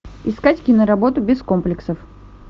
искать киноработу без комплексов